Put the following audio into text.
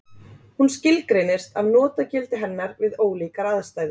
Hún skilgreinist af notagildi hennar við ólíkar aðstæður.